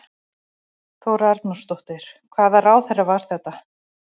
Þóra Arnórsdóttir: Hvaða ráðherra var þetta?